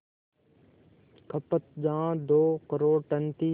खपत जहां दो करोड़ टन थी